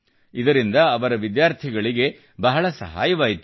ಇದರಿಂದ ಅವರ ವಿದ್ಯಾರ್ಥಿಗಳಿಗೆ ಬಹಳ ಸಹಾಯವಾಯಿತು